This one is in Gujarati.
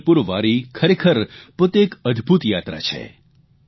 પંઢરપુર વારી ખરેખર પોતે એક અદભૂત યાત્રા છે